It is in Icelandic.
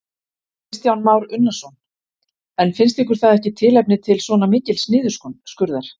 Kristján Már Unnarsson: En finnst ykkur það ekki tilefni til svona mikils niðurskurðar?